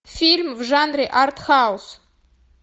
фильм в жанре арт хаус